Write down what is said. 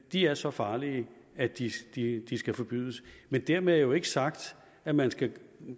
at de er så farlige at de skal de skal forbydes men dermed er jo ikke sagt at man skal